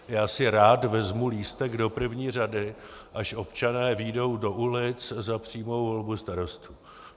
Já si rád vezmu lístek do první řady, až občané vyjdou do ulic za přímou volbu starostů.